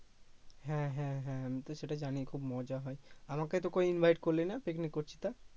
হ্যা হ্যা হ্যা আমি তো সেটা জানি খুব মজা হয় আমাকে তো কই invite করলি না পিকনিক করছিস তা